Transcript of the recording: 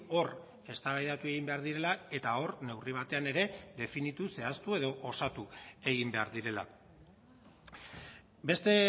hor eztabaidatu egin behar direla eta hor neurri batean ere definitu zehaztu edo osatu egin behar direla beste